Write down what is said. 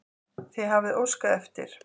Þið hafið óskað eftir.